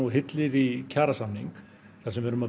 hyllir í kjarasamning þar sem við erum að